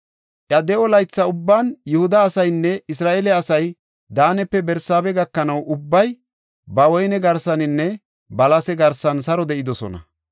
Iya de7o laytha ubban Yihuda asaynne Isra7eele asay Daanepe Barsaabe gakanaw, ubbay ba woyne garsaninne balase garsan saro de7idosona.